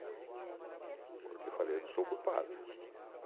Eu falei, eu não sou culpado.